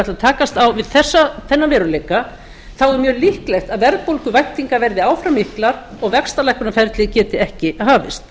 að takast á við þennan veruleika þá er mjög líklegt að verðbólguvæntingar verði áfram miklar og vaxtalækkunarferli geti ekki hafist